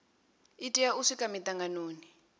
i tea u swika mitanganoni